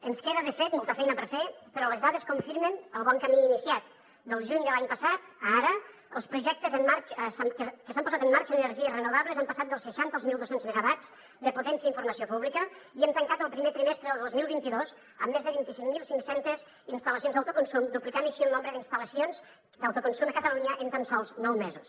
ens queda de fet molta feina per fer però les dades confirmen el bon camí iniciat del juny de l’any passat a ara els projectes que s’han posat en marxa en energies renovables han passat dels seixanta als mil dos cents megawatts de potència en informació pública i hem tancat el primer trimestre del dos mil vint dos amb més de vint cinc mil cinc cents instal·lacions d’autoconsum duplicant així el nombre d’instal·lacions d’autoconsum a catalunya en tan sols nou mesos